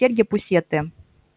серьги пусеты